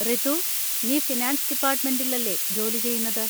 റിതു, നീ ഫിനാൻസ് ഡിപ്പാർട്ട്മെന്‍റിൽ അല്ലേ ജോലി ചെയ്യുന്നത്?